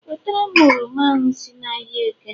Wetara m oroma ahụ si ahịa eke!